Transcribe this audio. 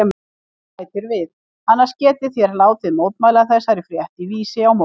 Og bætir við: Annars getið þér látið mótmæla þessari frétt í Vísi á morgun.